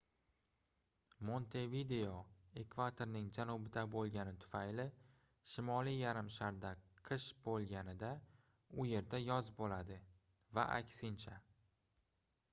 montevideo ekvatorning janubida boʻlgani tufayli shimoliy yarim sharda qish boʻlganida u yerda yoz boʻladi va aksincha